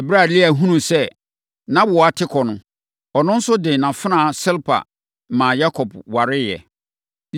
Ɛberɛ a Lea hunuu sɛ nʼawoɔ ate kɔ no, ɔno nso de nʼafenaa Silpa maa Yakob wareeɛ.